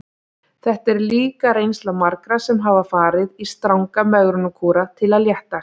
Þetta er líka reynsla margra sem hafa farið í stranga megrunarkúra til að léttast.